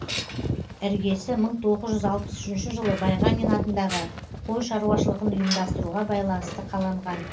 іргесі мың тоғыз жүз алпыс үшінші жылы байғанин атындағы қой шарушалығын ұйымдастыруға байланысты қаланған